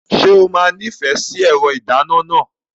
Ṣé o máa nífẹ̀ẹ́ sí ẹ̀rọ ìdáná náà?